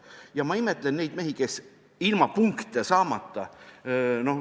Ja ma imetlen neid mehi, kes tegutsesid ilma punkte saamata.